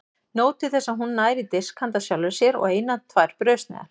Nóg til þess að hún nær í disk handa sjálfri sér og eina tvær brauðsneiðar.